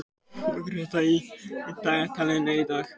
Greta, hvað er í dagatalinu í dag?